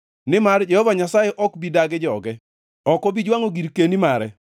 Nimar Jehova Nyasaye ok bi dagi joge; ok obi jwangʼo girkeni mare.